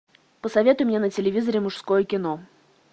посоветуй мне на телевизоре мужское кино